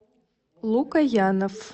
лукоянов